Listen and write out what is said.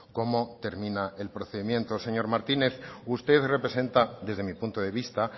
cómo termina el procedimiento señor martínez usted representa desde mi punto de vista